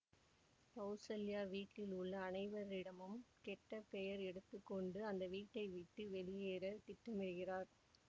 கௌசல்யா வீட்டிலுள்ள அனைவரிடமும் கெட்ட பெயர் எடுத்து கொண்டு அந்த வீட்டை விட்டு வெளியேற திட்டமிடுகிறார்